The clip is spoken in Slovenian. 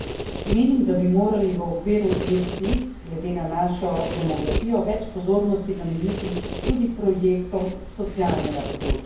Menim, da bi morali v okviru EFSI, glede na našo demografijo, več pozornosti nameniti tudi projektom s socialnega področja.